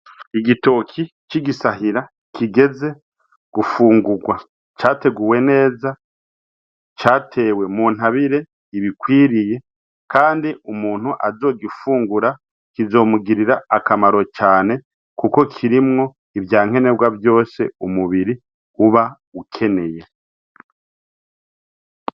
Igitki c'igisahira kigeze gufugura categuwe neza catewe muntabire irwiriye, kand'umuntu azogifungura kizomugirir'akamaro cane kuko kirimwo ivyankenerwa umubiri ukeneye.